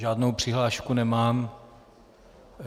Žádnou přihlášku nemám.